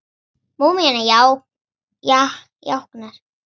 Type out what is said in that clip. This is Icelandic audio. Múmían jánkar.